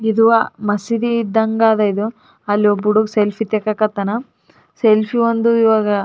ಇದು ಮಸೀದಿ ಇದ್ದಂಗ ಆದ ಇದು ಅಲ್ಲಿ ಒಬ್ಬ ಹುಡುಗ ಸೆಲ್ಫಿ ತೆಕ್ಹಕತ್ತಾನ ಸೆಲ್ಫಿ ಒಂದು ಇವಾಗ--